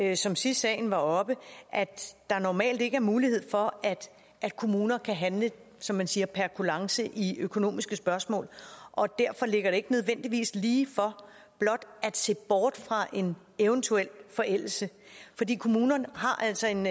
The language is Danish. jeg sagde sidst sagen var oppe at der normalt ikke er mulighed for at kommuner kan handle som man siger per kulance i økonomiske spørgsmål derfor ligger det ikke nødvendigvis lige for blot at se bort fra en eventuel forældelse kommunerne har altså en